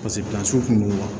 kun do